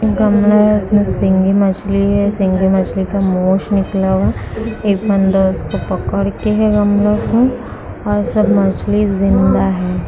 गमला है इसमे सिंगी मछली है सिंगी मछली का मूंछ निकला हुआ है एक बंदा उसको पकड़ के है गमला को और सब मछली जींदा है।